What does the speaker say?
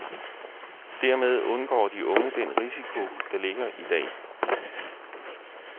Dermed undgår de unge den risiko, der ligger i dag.